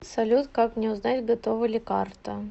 салют как мне узнать готова ли карта